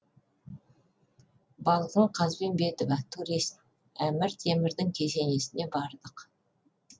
балғын қазбенбетова турист әмір темірдің кесенесіне бардық